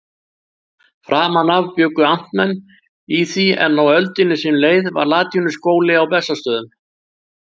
Framan af bjuggu amtmenn í því, en á öldinni sem leið var latínuskóli á Bessastöðum.